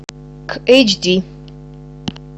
к эйч ди